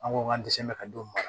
An ko k'an tɛ se ka don